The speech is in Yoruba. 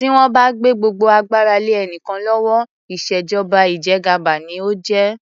Tí wón bá gbé gbogbo agbára lé ènìyàn kan lówó, ìṣèjọba ìjẹgàba ni ó jẹ́.